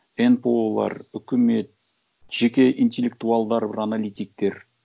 нпо лар үкімет жеке интеллектуалдар аналитиктер